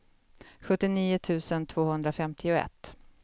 sjuttionio tusen tvåhundrafemtioett